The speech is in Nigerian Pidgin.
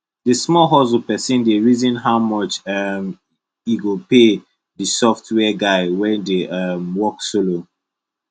the small hustle person dey reason how much um e go pay the software guy wey dey um work solo